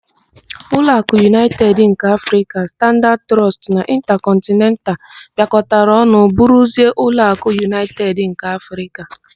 Ụlọakụ Unaịted nke Afrịka, Standaad Trọọst na Ịntakọntnental bịakotara ọnụ bụrụzie Ụlọakụ Unaịted nke Afrịka.